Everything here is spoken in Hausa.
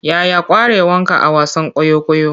Yaya ƙwarewanka a wasan kwaikwayo?